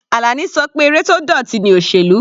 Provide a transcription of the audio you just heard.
Alani ṣọ pé eré tó dọ̀tí ni òsèlú.